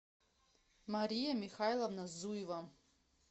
мария михайловна зуева